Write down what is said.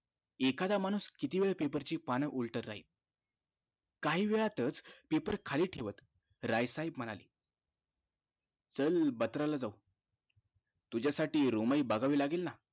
एखादा माणुस कितीवेळ paper ची पान उलटत राहिलं काहीवेळातच paper खाली ठेवत राय साहेब म्हणाले चल बत्राला जाऊ तुझ्यासाठी room हि बघावी लागेल ना